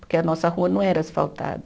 Porque a nossa rua não era asfaltada.